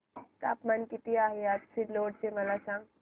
तापमान किती आहे आज सिल्लोड चे मला सांगा